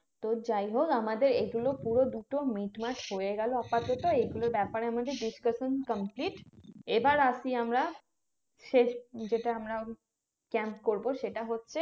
তো যাই হোক আমাদের এগুলো পুরো দুটো মিটমাট হয়ে গেলো আপাতত এগুলো ব্যাপারে আমাদের Discussion Complete এবার আসি আমরা শেষ যেটা আমরা camp করবো সেটা হচ্ছে